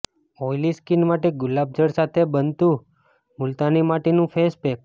oily skin માટે ગુલાબજળ સાથે બનતું મુલતાની માટીનું ફેસપેક